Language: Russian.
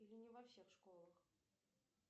или не во всех школах